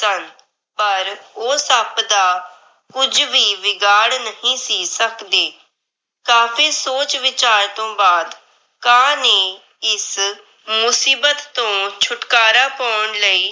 ਬਾਦ ਕਾਂ ਨੇ ਮੁਸੀਬਤ ਤੋਂ ਛੁਟਕਾਰਾ ਪੌਣ ਲਈ ਯੋਜਨਾ ਬਣਾਈ। ਰੁੱਖ ਦੇ ਨੇੜੇ ਹੀ ਇੱਕ ਤਲਾਬ ਸੀ। ਉੱਥੇ ਇੱਕ ਰਾਜਕੁਮਾਰ